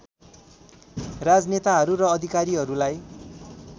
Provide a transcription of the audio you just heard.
राजनेताहरू र अधिकारीहरूलाई